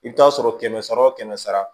I bɛ taa sɔrɔ kɛmɛ sara o kɛmɛ sara